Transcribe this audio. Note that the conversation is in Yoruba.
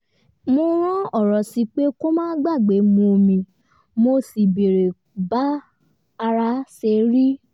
mo rán ọ̀rọ̀ sí i pé kó má gbàgbé mu omi mo sì béèrè bá ara ṣe rí